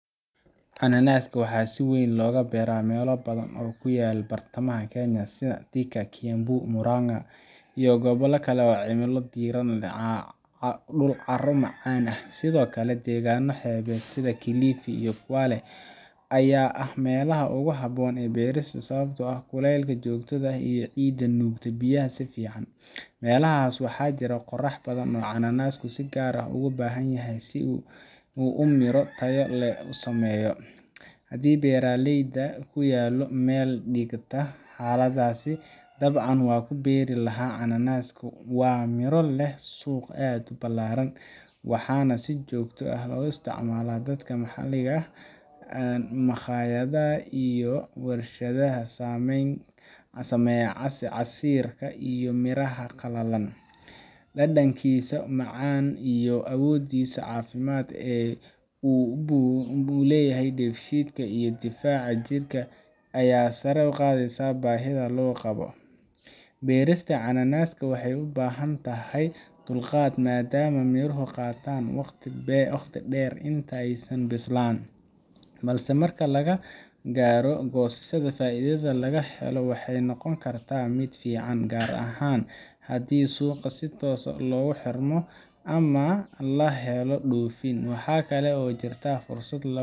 Cananaska waxaa si weyn looga beeraa meelo badan oo ku yaal bartamaha Kenya sida Thika, Kiambu, Murang’a, iyo gobollo kale oo leh cimilo diiran iyo dhul carro-macaan ah. Sidoo kale, deegaanno xeebeed sida Kilifi iyo Kwale ayaa ah meelaha ugu habboon beertiisa sababtoo ah kuleylka joogtada ah iyo ciidda nuugta biyaha si fiican. Meelahaas waxaa ka jiro qorrax badan oo cananasku si gaar ah ugu baahan yahay si uu miro tayo leh u sameeyo. Haddii beertayda ku taallo meel u dhiganta xaaladahaas, dabcan waan ku beeri lahaa cananas. Waa miro leh suuq aad u ballaaran, waxaana si joogto ah u isticmaala dadka maxalliga ah, makhaayadaha, iyo wershadaha sameeya casiirka iyo miraha qalalan. Dhadhankiisa macaan iyo awooddiisa caafimaad ee uu u leeyahay dheefshiidka iyo difaaca jirka ayaa sare u qaadaysa baahida loo qabo. Beerista cananaska waxay u baahan tahay dulqaad maadaama miruhu qaataan waqti dheer inta aysan bislaan, balse marka la gaaro goosashada, faa’iidada laga helo waxay noqon kartaa mid fiican, gaar ahaan haddii suuqa si toos ah loogu xirmo ama la helo dhoofin. Waxaa kale oo jirta fursad